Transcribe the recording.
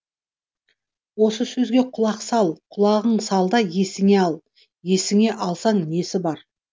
осы сөзге құлақ сал құлағың сал да есіңе ал есіңе алсаң несі бар